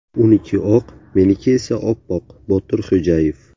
Uniki oq, meniki esa oppoq Botir Xo‘jayev.